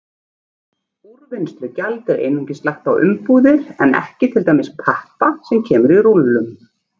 Úrvinnslugjald er einungis lagt á umbúðir en ekki til dæmis pappa sem kemur í rúllum.